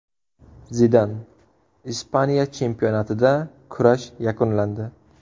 Zidan: Ispaniya chempionatida kurash yakunlandi.